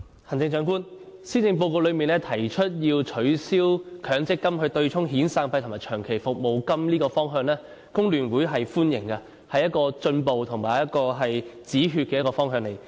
行政長官，施政報告提出要取消強制性公積金對沖遣散費及長期服務金這個方向，工聯會是歡迎的，這是一個進步及止血的方向。